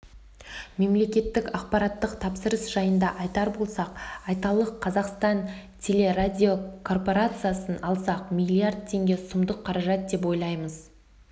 мемлекеттік ақпараттық тапсырыс жайында айтар болсақ айталық қазақстан телерадиокорпорациясын алсақ миллиард теңге сұмдық қаражат деп ойлаймыз